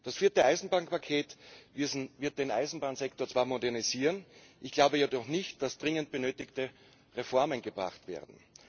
Das vierte Eisenbahnpaket wird den Eisenbahnsektor zwar modernisieren, ich glaube jedoch nicht, dass dringend benötigte Reformen gebracht werden.